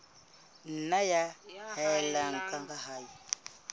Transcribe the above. nna ya haella ka ha